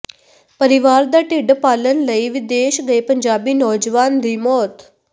ਪਰਿਵਾਰ ਦਾ ਢਿੱਡ ਪਾਲਣ ਲਈ ਵਿਦੇਸ਼ ਗਏ ਪੰਜਾਬੀ ਨੌਜਵਾਨ ਦੀ ਮੌਤ